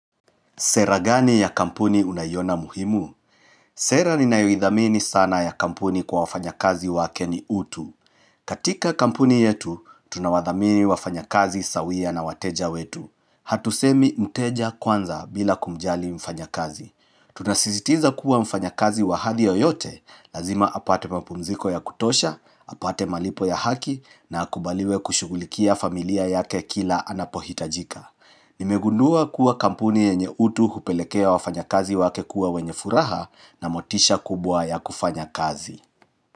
Sera gani ya kampuni unaiona muhimu? Sera ninayoithamini sana ya kampuni kwa wafanyakazi wake ni utu. Katika kampuni yetu, tunawathamini wafanyakazi sawia na wateja wetu. Hatusemi mteja kwanza bila kumjali mfanyakazi. Tunasizitiza kuwa mfanyakazi wa hali yoyote, lazima apate mapumziko ya kutosha, apate malipo ya haki, na akubaliwe kushugulikia familia yake kila anapohitajika. Kuwa kampuni yenye utu hupelekea wafanyakazi wake kuwa wenye furaha na motisha kubwa ya kufanya kazi.